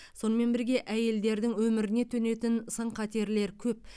сонымен бірге әйелдердің өміріне төнетін сын қатерлер көп